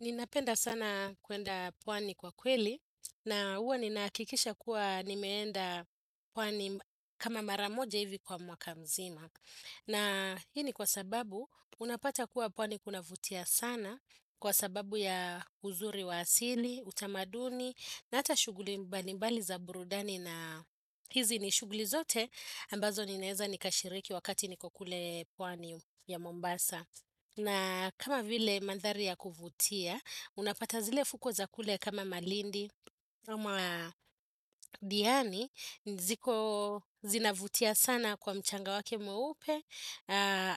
Ninapenda sana kuenda pwani kwa kweli na huwa ninahakikisha kuwa nimeenda pwani kama maramoja hivi kwa mwaka mzima. Na hii ni kwa sababu unapata kuwa pwani kunavutia sana kwa sababu ya uzuri wa asili, utamaduni, na hata shuguli mbali mbali za burudani na hizi ni shuguli zote ambazo ninaeza nikashiriki wakati niko kule pwani ya Mombasa. Na kama vile mandhari ya kuvutia, unapata zile fukwe za kule kama malindi, kama diani, ziko zinavutia sana kwa mchanga wake mweupe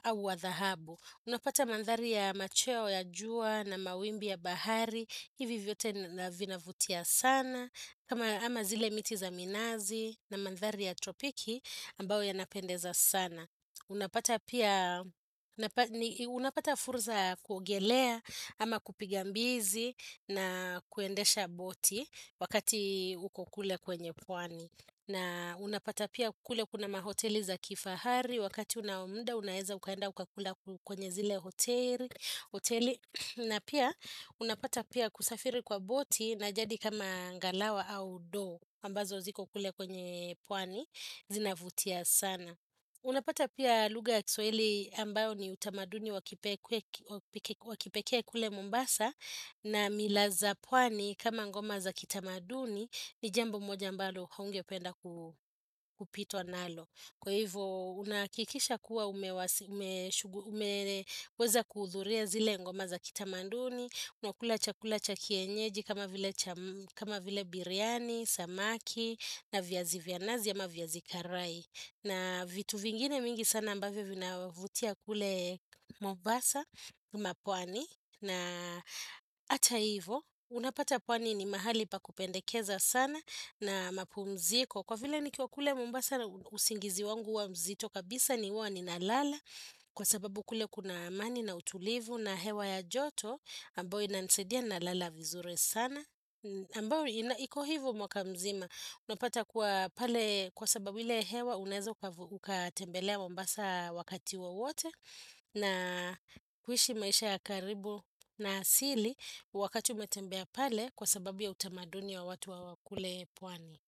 au wa dhahabu. Unapata mandhari ya macheo ya jua na mawimbi ya bahari, hivi vyote vina vina vutia sana. Kama ama zile miti za minazi na mandhari ya tropiki ambayo yanapendeza sana. Unapata pia, unapata fursa kuogelea ama kupigambizi na kuendesha boti wakati uko kule kwenye pwani. Na unapata pia kule kuna mahoteli za kifahari wakati unao muda unaeza ukaenda ukakula kwenye zile hoteli. Na pia, unapata pia kusafiri kwa boti na jadi kama ngalawa au do, ambazo ziko kule kwenye pwani, zinavutia sana. Unapata pia lugha ya kiswahili ambayo ni utamaduni wakipekee kule mombasa na mila za pwani kama ngoma za kitamaduni ni jambo moja ambalo haungependa kupitwa nalo. Kwa hivyo unahakikisha kuwa umeweza kuudhuria zile ngoma za kitamanduni, unakula chakula cha kienyeji kama vile biryani, samaki na viazi vya nazi ama viazi karai. Na vitu vingine mingi sana ambavyo vinavutia kule mombasa ama pwani na hata hivyo unapata pwani ni mahali pa kupendekeza sana na mapumziko. Kwa vile nikiwa kule mobasa na usingizi wangu huwa mzito kabisa ni huwa nina lala kwa sababu kule kuna amani na utulivu na hewa ya joto ambayo inanisaidia na lala vizuri sana. Iko hivo mwaka mzima Unapata kuwa pale kwa sababu ile hewa Unaezo ukatembelea mombasa wakati wowote na kuishi maisha ya karibu na asili Wakati umetembea pale kwa sababu ya utamaduni wa watu wa kule pwani.